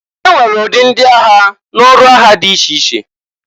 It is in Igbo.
E nwere ụdị ndị agha n'ọrụ agha dị iche iche.